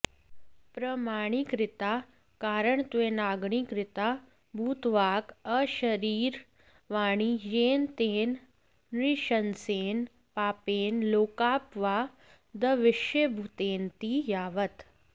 प्रमाणीकृता कारणत्वेनाङ्गीकृता भूतवाक् अशरीरवाणी येन तेन नृशंसेन पापेन लोकापवादविषयभूतेनति यावत्